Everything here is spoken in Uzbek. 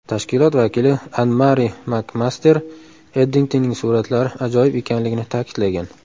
Tashkilot vakili AnnMari MakMaster Eddingtonning suratlari ajoyib ekanligini ta’kidlagan.